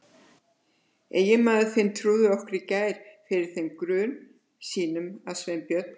En eiginmaður þinn trúði okkur í gær fyrir þeim grun sínum að Sveinbjörn